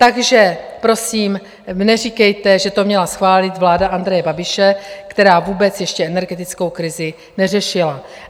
Takže prosím neříkejte, že to měla schválit vláda Andreje Babiše, která vůbec ještě energetickou krizi neřešila.